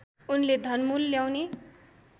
उनले घनमूल ल्याउने